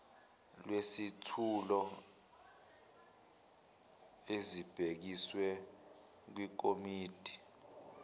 lwezethulo ezibhekiswe kwikomidi